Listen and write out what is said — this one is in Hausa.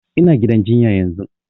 Ina gidan jinya yanzun